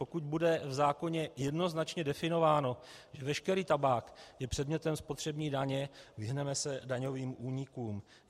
Pokud bude v zákoně jednoznačně definováno, že veškerý tabák je předmětem spotřební daně, vyhneme se daňovým únikům.